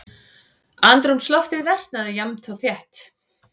Andrúmsloftið versnaði jafnt og þétt.